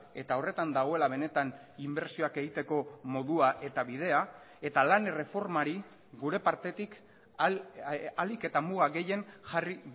eta horretan dagoela benetan inbertsioak egiteko modua eta bidea eta lan erreformari gure partetik ahalik eta muga gehien jarri